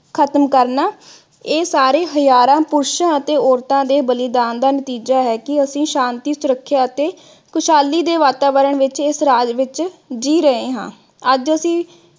ਖਤਮ ਕਰਨਾ। ਇਹ ਸਾਰੇ ਹਜ਼ਾਰਾਂ ਪੁਰਸ਼ਾਂ ਅਤੇ ਔਰਤਾਂ ਦੇ ਬਲਿਦਾਨ ਦਾ ਨਤੀਜਾ ਹੈ ਕਿ ਅਸੀਂ ਸ਼ਾਂਤੀ, ਸੁਰੱਖਿਆ ਅਤੇ ਖੁਸ਼ਹਾਲੀ ਦੇ ਵਾਤਾਵਰਨ ਵਿਚ ਇਸ ਰਾਜ ਵਿਚ ਜੀਅ ਰਹੇ ਹਾ। ਅੱਜ ਅਸੀਂ